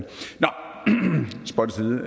spøg til